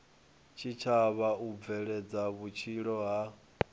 tshitshavha u bveledza vhutshilo ha